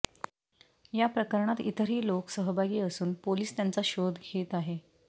या प्रकरणात इतरही लोक सहभागी असून पोलिस त्यांचा शोध घेत आहे